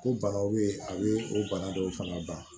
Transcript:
Ko banaw bɛ yen a bɛ o bana dɔw fana ban